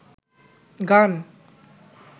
গান